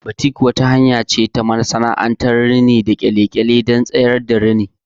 Batik wata hanya ce ta rini masana'anta inda aka rufe wasu wuraren da kyalle don tsayar da rini.